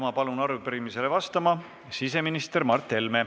Ma palun arupärimisele vastama siseminister Mart Helme.